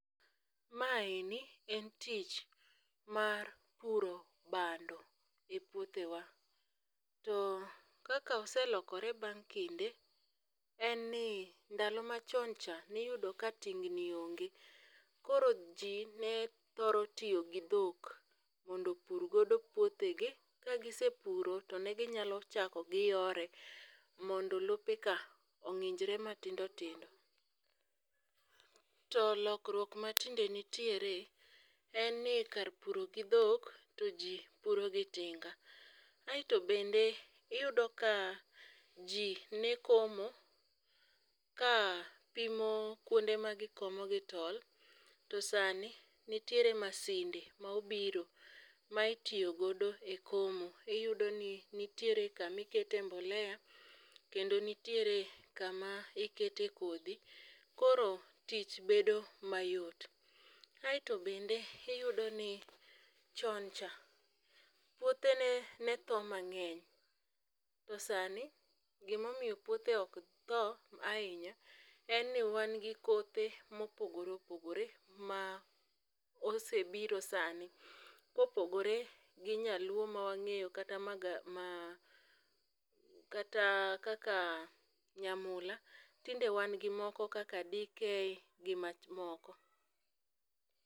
Maeni en tich mar puro bando e puothewa, to kaka oselokore bang' kinde, en ni ndalo machon cha niyudo ka tingni onge koro ji ne thoro tiyo gi dhok mondo opurgodo puothegi kagisepuro to ne ginyalo chako giyore mondo lopeka ong'injre matindotindo. To lokruok matinde nitiere en ni kar puro gi dhok to ji puro gi tinga. Aeto bende iyudo ka ji ne komo ka pimo kuonde magikomo gi tol to sani nitiere masinde ma obiro ma itiyogodo e komo iyudo ni nitiere kamikete mbolea kendo nitiere kama ikete kodhi koro tich bedo mayot. Aeto bende iyudo ni choncha puothe ne tho mang'eny to sani gimomiyo puothe oktho ahinya en ni wan gi kothe mopogore opogore ma osebiro sani kopogore gi nyaluo ma wang'enyo kata kaka nyamula, tinde wangi moko kaka DK gi mamoko.